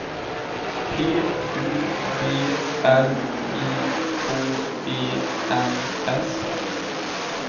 P U B L I K E N S